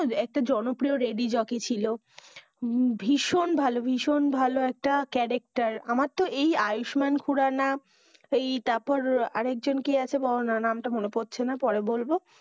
একটা জনপ্রিয় radio jockey ছিল, ভীষণ ভালো ভীষণ ভালো একটা character আমার তো এই আয়ুষ্মান খুরানা, এই তারপর আরেক জন কে আছে বোলো না, নাম টা মনে পড়ছে না পরে বলবো।